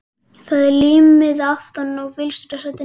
Það er límmiði aftan á bílstjórasætinu.